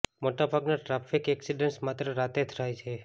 મોટા ભાગના traffic accidents માત્ર રાત્રે થાય છે